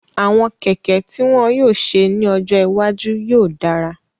Àwọn kẹ̀kẹ́ tí wọ́n yóò ṣe ní ọjọ́ iwájú yóò dára